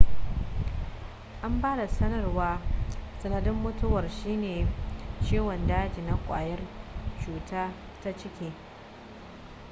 an ba da sanarwar sanadin mutuwar shine ciwon daji na ƙwayar cuta ta ciki